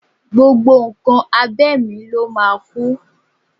Gbogbo nǹkan abẹ̀mí ló máa kú